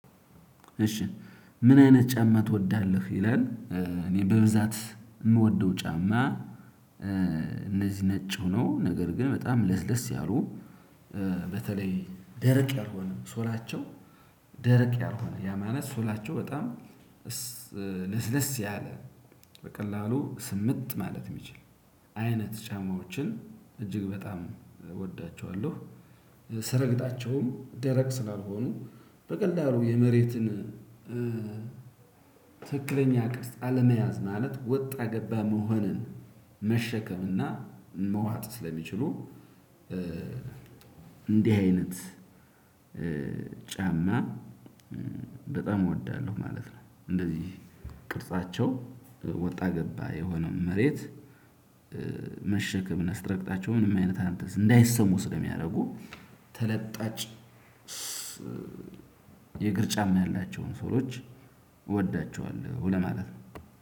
እሺ ምን አይነት ጫማ ትወዳለህ? ይላል እኔ በብዛት የምወደው ጫማ እ እነዚህ ነጭ የሆኑ ነገር ግን በጣም ለስለስ ያሉ። በተለይ ደረቅ ያልሆነም ሶላቸው። ደረቅ ያልሆነ ያ ማለት ሶላቸው በጣም እስ ለስለስ ያለ። በቀላሉ ስምጥ ማለት የሚችል አይነት ጫማዎችን እጅግ በጣም እወዳቸዋለሁ። ስረግጣቸውም ደረቅ ስላልሆኑ በቀላሉ የመሬትን እ ትክክለኛ ቅርጽ አለመያዝ ማለት ወጣ ገባ መሆንን መሸከምና መዋጥ ስለሚችሉ። እንዲህ አይነት ጫማ በጣም እወዳለሁ ማለት ነው። እንደዚህ ቅርጻቸው ወጣ ገባ የሆነውን መሬት። መሸከም እና ስረግጣቸው መንም አይነት አንተን እንዳይሰሙ ስለሚያደርጉ። ተለጣጭ የእግር ጫማ ያላቸውን ሶሎች እወዳቸዋለሁ ለማለት ነው።